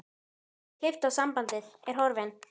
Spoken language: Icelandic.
Hann hefur klippt á sambandið, er horfinn.